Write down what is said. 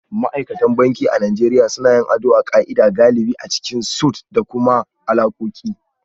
Ma'aikatan banki a Najeriya suna yin ado a ka'ida, galibi a cikin suites da kuma alakoki